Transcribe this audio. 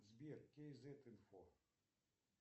сбер кей зет инфо